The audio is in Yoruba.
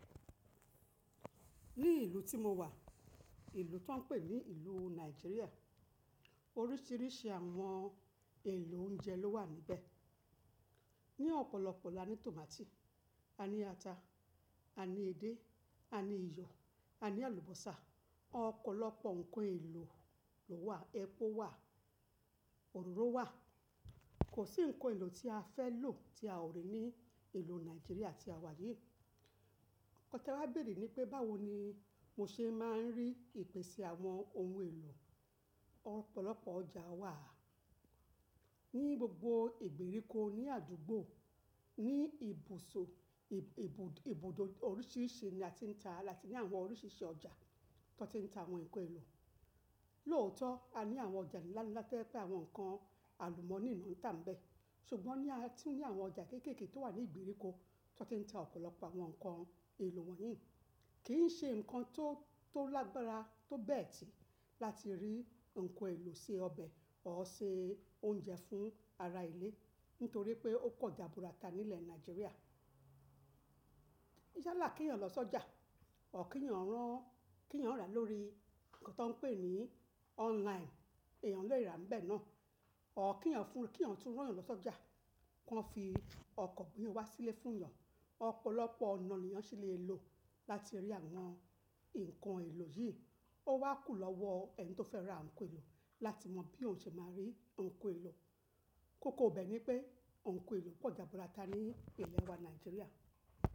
Ní ìlú tí mo wà, ìlú tó ń pè ní ìlú Nàìjíríà, oríṣiríṣi àwọn èlò oúnjẹ ló wà níbẹ̀. Ni ọ̀pọ̀lọpọ̀ la ní tòmátì, a ní ata, a ní edé, a ní iyọ̀, a ní àlùbọ́sà. Ọ̀pọ̀lọpọ̀ ǹkan èlò ló wà, ẹpo wà, òróró wà. Kò sí ǹkan èlò tí a fẹ́ lò tí a ò rí ní ìlú Nàìjíríà tí a wà yìí. Nkan te wa béèrè ni pé báwo ni mo ṣe máa ń rí ìpèsè àwọn ohun èlò. Ọ̀pọ̀lọpọ̀ ọjà wà ní gbogbo ìgbèríko, ní àdúgbò, ní ibùsọ̀, ibùdó oríṣiríṣi ni a ti ń ta, láti ní àwọn oríṣiríṣi ọjà tó ti ń ta àwọn ǹkan èlò. Lóòótọ́ a ní àwọn ọjà ńlá ńlá to ye pé àwọn nǹkan àlùmọ́nì ni wọ́n ń ta níbẹ̀, ṣùgbọ́n ní a tún ní àwọn ọjà kéékèèké tó wà ní ìgbèríko tó ti ń ta ọ̀pọ̀lọpọ̀ àwọn nǹkan èlò wọ̀nyí. Kì í ṣe nǹkan tó lágbára tó bẹ́ẹ̀ tí láti rí ǹkan èlò ṣe ọbẹ̀ or ṣe oúnjẹ fún ara ilé, nítorí pé ó pọ̀ jaburata nílẹ̀ Nàìjíríà. Yala kí eyan lọ sójà, or kí eyan rán, kí eyan rà lórí nǹkan tó ń pè ní online, èèyàn lè rà níbẹ̀ náà. Ọ̀ kí eyan fún, kí eyan tún ràn yẹn lọ sójà, kí wọ́n fi ọkọ̀ gbé e wá sílé fún yan. Ọ̀pọ̀lọpọ̀ ọ̀nà ni eyán ṣí lè lò láti rí àwọn ǹkan èlò yìí. Ó wá kù lọ́wọ́ ẹni tó fẹ́ ra ǹkan èlò láti mọ bí òun ṣe máa rí ǹkan èlò. Kókó ibe ni pé ǹkan èlò pọ̀ jaburata ní ilẹ̀ wa Nàìjíríà.